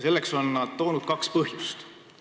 Selle õigustuseks on nad toonud kaks põhjust.